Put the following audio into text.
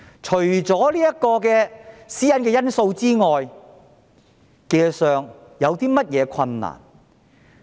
除了私隱因素外，技術上有何困難？